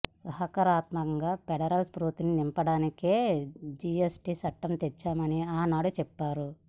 సహకారాత్మక federal స్ఫూర్తిని నింపడానికే GST చట్టం తెచ్చామని ఆనాడు చెప్పారు